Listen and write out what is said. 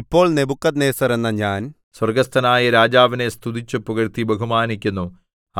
ഇപ്പോൾ നെബൂഖദ്നേസർ എന്ന ഞാൻ സ്വർഗ്ഗസ്ഥനായ രാജാവിനെ സ്തുതിച്ചു പുകഴ്ത്തി ബഹുമാനിക്കുന്നു